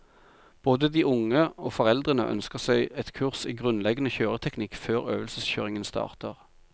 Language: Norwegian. Både de unge og foreldrene ønsker seg et kurs i grunnleggende kjøreteknikk før øvelseskjøringen starter.